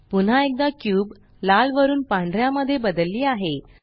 पुन्हा एकदा क्यूब लाल वरुन पांढऱ्या मध्ये बदलली आहे